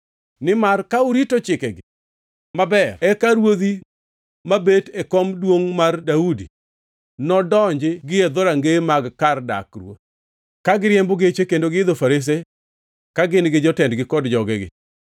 Nimar ka urito chikegi maber, eka ruodhi mabet e kom duongʼ mar Daudi nondonji gi e dhorangeye mag kar dak ruoth, ka giriembo geche kendo giidho farese, ka gin gi jotendgi kod jogegi.